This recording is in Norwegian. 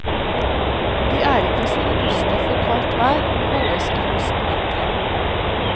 De er ikke så robuste for kaldt vær og må holdes i hus om vinteren.